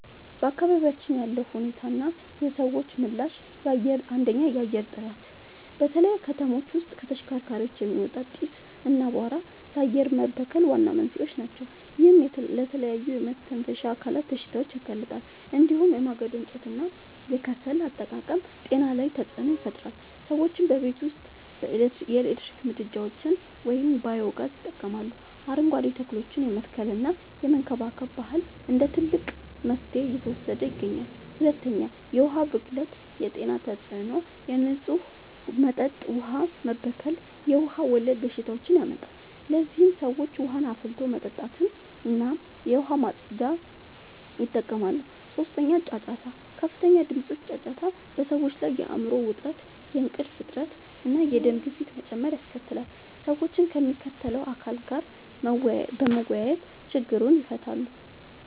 በአካባቢያችን ያለው ሁኔታና የሰዎች ምላሽ፦ 1. የአየር ጥራት፦ በተለይ ከተሞች ውስጥ ከተሽከርካሪዎች የሚወጣ ጢስ እና አቧራ ለአየር መበከል ዋና መንስኤዎች ናቸው። ይህም ለተለያዩ የመተንፈሻ አካላት በሽታዎች ያጋልጣል። እንዲሁም የማገዶ እንጨትና የከሰል አጠቃቀም ጤና ላይ ተጽዕኖ ይፈጥራል። ሰዎችም በቤት ውስጥ የኤሌክትሪክ ምድጃዎችን ወይም ባዮ-ጋዝ ይጠቀማሉ፣ አረንጓዴ ተክሎችን የመትከልና የመንከባከብ ባህል እንደ ትልቅ መፍትሄ እየተወሰደ ይገኛል። 2. የዉሀ ብክለት የጤና ተጽዕኖ፦ የንጹህ መጠጥ ውሃ መበከል የውሃ ወለድ በሽታዎችን ያመጣል። ለዚህም ሰዎች ውሃን አፍልቶ መጠጣትና የዉሃ ማፅጃን ይጠቀማሉ። 3. ጫጫታ፦ ከፍተኛ ድምጾች (ጫጫታ) በሰዎች ላይ የአይምሮ ዉጥረት፣ የእንቅልፍ እጥረት፣ እና የደም ግፊት መጨመር ያስከትላል። ሰዎችም ከሚመለከተዉ አካል ጋር በመወያየት ችግሩን ይፈታሉ።